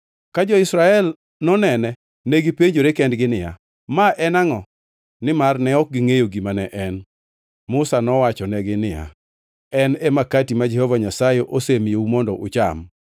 Ka jo-Israel nonene, negipenjore kendgi niya, “Ma en angʼo?” Nimar ne ok gingʼeyo gima ne en. Musa nowachonegi niya, “En e Makati ma Jehova Nyasaye osemiyou mondo ucham.